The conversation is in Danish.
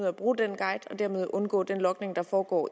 af bruge den guide og dermed undgå den logning der foregår